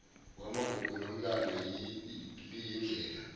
yamagugu nomlando liyindlela